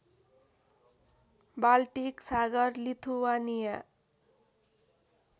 Baltic सागर Lithuania